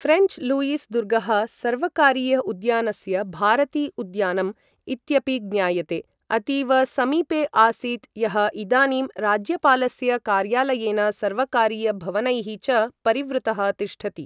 French Louis दुर्गः सर्वकारीय उद्यानस्य भारती उद्यानम् इत्यपि ज्ञायते अतीव समीपे आसीत् यः इदानीं राज्यपालस्य कार्यालयेन सर्वकारीय भवनैः च परिवृतः तिष्ठति।